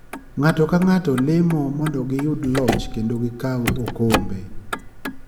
Ng'ato ka ng'ato lemo mondo giyud loch kendo gi kaw okombe.